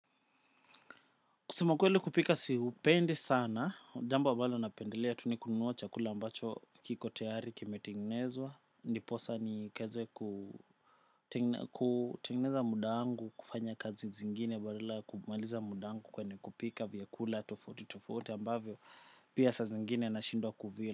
Kusema ukweli kupika siupendi sana, jambo ambalo napendelea tu nikununua chakula ambacho kiko tayari kime tengenezwa, niposa ni keze kutengeneza muda wangu, kufanya kazi zingine, badala kumaliza mudangu kwenye kupika vyakula tofauti tofauti ambavyo pia sa zingine na shindwa kuvila.